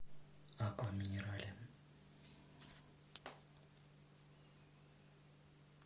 аква минерале